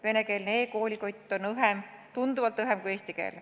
Venekeelne e-koolikott on õhem, tunduvalt õhem kui eestikeelne.